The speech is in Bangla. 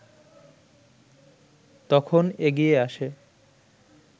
তখন এগিয়ে আসে